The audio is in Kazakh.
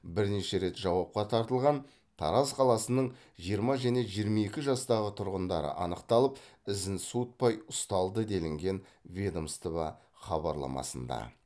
бірнеше рет жауапқа тартылған тараз қаласының жиырма және жиырма екі жастағы тұрғындары анықталып ізін суытпай ұсталды делінген ведомство хабарламасында